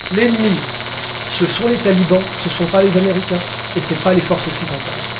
L'ennemi, ce sont les talibans, ce ne sont pas les Américains et ce ne sont pas les forces occidentales.